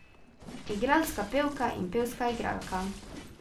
Igralska pevka in pevska igralka.